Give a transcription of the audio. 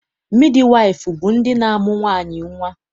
Midiwaịfụ bụ ndị na-amụ nwaanyị nnwa.